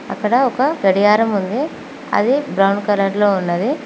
అక్కడ ఒక గడియారం ఉంది అది బ్రౌన్ కలర్ లో ఉన్నది.